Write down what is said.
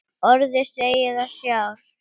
Orðið segir það sjálft.